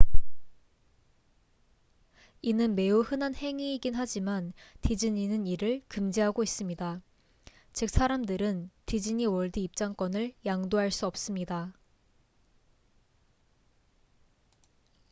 이는 매우 흔한 행위이긴 하지만 디즈니는 이를 금지하고 있습니다 즉 사람들은 디즈니월드 입장권을 양도할 수 없습니다